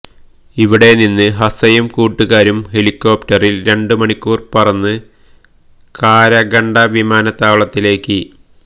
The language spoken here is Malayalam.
ഇവിടെനിന്ന് ഹസ്സയും കൂട്ടുകാരും ഹെലികോപ്റ്ററില് രണ്ട് മണിക്കൂര് പറന്ന് കാരഗണ്ട വിമാനത്താവളത്തിലേക്ക്